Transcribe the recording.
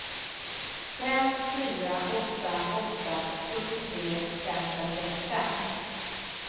fem fyra åtta åtta sjuttiotre femhundratrettiofem